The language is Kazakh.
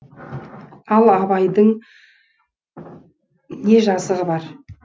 ал абайдың не жазығы бар